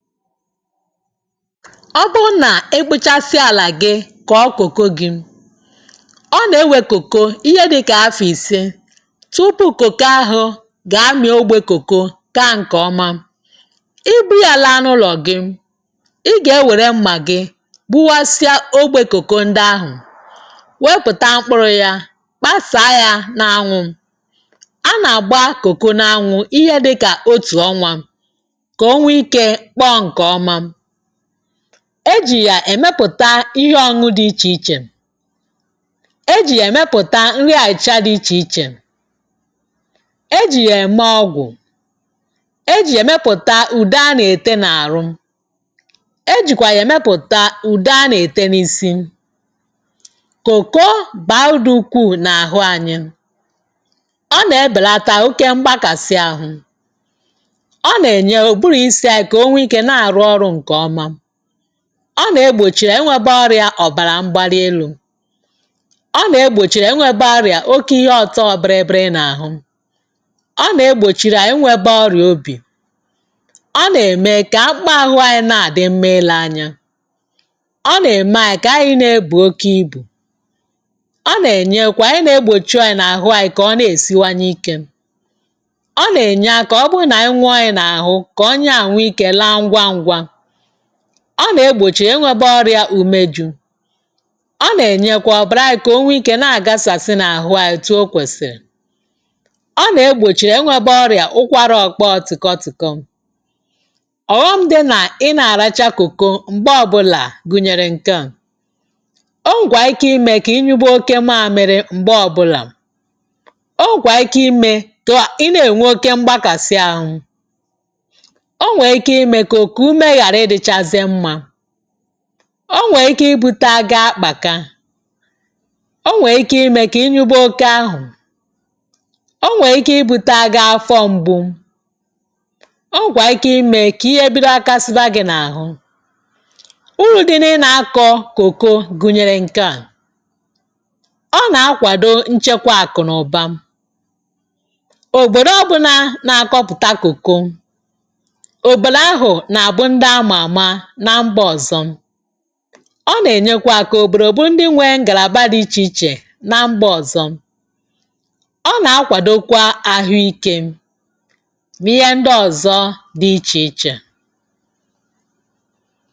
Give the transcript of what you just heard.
Ọ bụrụ na i kpụchasịa ala gị kọọ cocoa gị, ọ na-ewe cocoa ihe dịka afọ ise tupu cocoa ahụ ga-amị ogbe cocoa, kaa nke ọma. Ị buru ya laa n’ụlọ gị, ị ga-ewere mma gị gbuwasịa ogbe cocoa ndị ahụ, wepụta mkpụrụ ya, kpasaa ya n’anwụ. A na-agba cocoa n’anwụ ihe dịka otu ọnwa ka o nwee ike kpọọ nke ọma. E ji ya emepụta ihe ọñụñụ dị iche iche. E ji ya emepụta nri aịcha dị iche iche. E ji ya eme ọgwụ. E ji emepụta ude a na-ete n’arụ. E jikwa ya emepụta ude a na-ete n’isi. cocoa baa uru dị ukwuu n’ahụ anyị. Ọ na-ebelata oke mgbakasị ahụ. Ọ na-eme ụbụrụ isi anyị ka o nwee ike na-arụ ọrụ nke ọma. Ọ na-egbochi inwebe ọrịa ọbara mgbali elu. Ọ na-egbochi ịnwebe orịa oke ihe ọtọọ bịrịbịrị n’àhụ. Ọ na-egbochiri anyị ịnwebe ọrịa obi. Ọ na-eme ka akpụkpọ ahụ anyị na-adị mma ile anya. Ọ na-eme anyị ka anyị na-ebu oke ibu. Ọ na-enyekwa ịna-egbochu anyị n’àhụ anyị ka ọ na-esiwanye ike. Ọ na-enye aka ọ bụrụ na nwee ọnya n’ahụ, ka ọnya ahụ nwee ike laa ngwa ngwa. Ọ na-egbochi ịnwebe ọrịa umeju. Ọ na-enyekwa ọbara anyị ka o nwee ike na-agasasị n’ahụ anyị etu o kwesịrị. Ọ na-egbochi ịnwebe ọrịa ụkwara ọkpọọ tịkọ tịkọ. Ọghọm dị na ị na-aracha cocoa mgbe ọbụla gụnyere nke a; o nwere ike ime ka ị nyụba oke mamịrị mgbe ọbụla. O nwakwara ike ime ka ị na-enwe oke mgbakàsị ahụ. O nwere ike ime ka okuku ume ghara ịdịchazi mma. O nwere ike ibute aga akpaka. O nwere ike ime ka ị nyụba oke ahụ. O nwere ike ibutere gị afọ mgbu. O nwekwara ike ime ka ihe bido ghakasịba gị n’ahụ. Uru dị na ịna akọ cocoa gunyere nke a; ọ na-akwado nchekwa akụ na ụba. Obodo ọbụna na-akọpụta cocoa, obodo ahụ na-abụ ndị a ma ama na mba ọzọ. Ọ na-enyekwa aka ka obodo bụrụ ndị nwere ngalaba dị iche iche na mba ọzọ. Ọ na-akwadokwa ahụ ike na ihe ndị ọzọ dị iche iche.